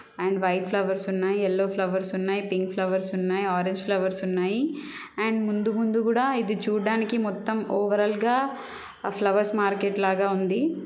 And white flowers ఉన్నాయి. Yellow flowers ఉన్నాయి. Pink flowers ఉన్నాయి. ఆరెంజ్ ఫ్లవర్స్ ఉన్నాయి అండ్ ముందు ముందు గూడా ఇది చూడ్డానికి మొత్తం ఓవర్ ఆల్ గా అహ్ ఫ్లవర్స్ మార్కెట్ లాగా ఉంది.